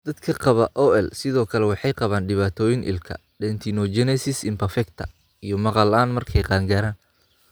Dadka qaba OI sidoo kale waxay qabaan dhibaatooyin ilko (dentinogenesis imperfecta) iyo maqal la'aan markay qaangaaraan.